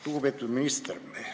Lugupeetud minister!